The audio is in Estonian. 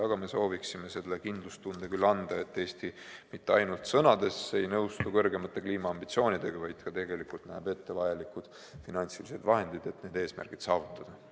Aga me sooviksime selle kindlustunde küll anda, et Eesti mitte ainult sõnades ei nõustu kõrgemate kliimaambitsioonidega, vaid ka tegelikult näeb ette vajalikud finantsvahendid, et need eesmärgid saavutada.